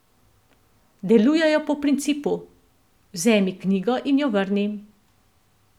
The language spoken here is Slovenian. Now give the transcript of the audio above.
Delujejo po principu: "Vzemi knjigo in jo vrni.